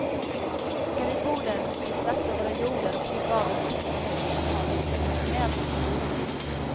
Ska vi bo där måste vi slakta våra hjordar och klippa av den sista länken vi har med traditionellt beduinliv.